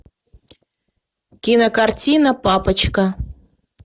кинокартина папочка